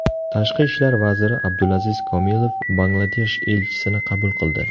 Tashqi ishlar vaziri Abdulaziz Komilov Bangladesh elchisini qabul qildi.